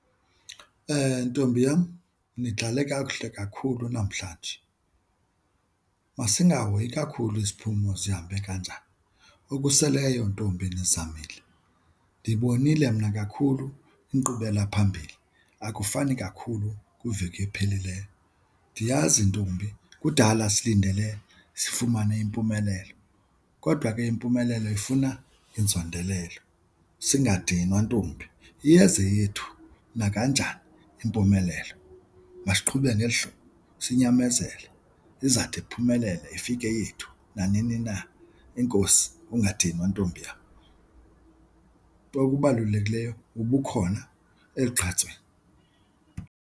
Ntombi yam, nidlale kakuhle kakhulu namhlanje. Masingahoyi kakhulu isiphumo zihambe kanjani. Okuseleyo ntombi nizamile ndibonile mna kakhulu inkqubelaphambili akufani kakhulu kwiveki ephelileyo. Ndiyazi ntombi kudala silindele sifumane impumelelo kodwa ke impumelelo ifuna inzondelelo, singadinwa ntombi. Iyeza eyethu nakanjani impumelelo. Masiqhube ngeli hlobo sinyamezele, izawuthi iphumelele ifike yethu nanini na. Enkosi, ungadinwa ntombi yam. Okubalulekileyo ubukhona elugqatsweni.